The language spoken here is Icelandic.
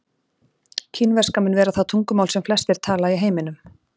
kínverska mun vera það tungumál sem flestir tala í heiminum